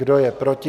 Kdo je proti?